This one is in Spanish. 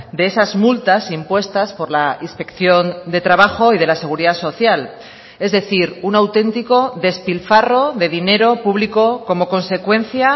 de esas multas impuestas por la inspección de trabajo y de la seguridad social es decir un auténtico despilfarro de dinero público como consecuencia